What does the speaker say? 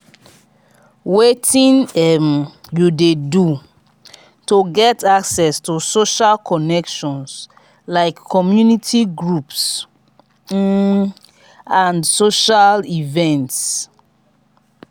wetin um you dey do to get access to social connections like community groups um and social events?